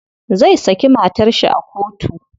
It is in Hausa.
Zai saki matar shi a kotu.